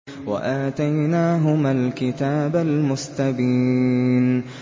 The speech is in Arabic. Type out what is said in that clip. وَآتَيْنَاهُمَا الْكِتَابَ الْمُسْتَبِينَ